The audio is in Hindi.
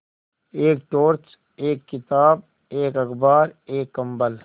एक टॉर्च एक किताब एक अखबार एक कम्बल